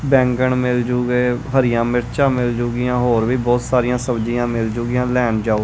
ਬੈਂਗਣ ਮਿਲਜੁਗੇ ਹਰੀਆਂ ਮਿਰਚਾਂ ਮਿਲਜੁਗੀਆਂ ਹੋਰ ਵੀ ਬਹੁਤ ਸਾਰੀ ਸਬਜੀਆਂ ਮਿਲਜੁਗੀਆਂ ਲੈਣ ਜਾਓ--